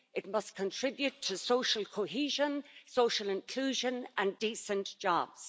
It must contribute to social cohesion, social inclusion and decent jobs.